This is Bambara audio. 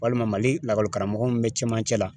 Walima Mali lakɔli karamɔgɔ min bɛ cɛmancɛ la ,